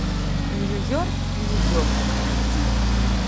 нью йорк нью йорк найди